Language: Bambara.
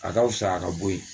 A ka fisa a ka bɔ yen